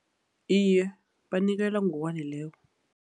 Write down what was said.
Iye, banikelwa ngokwaneleko.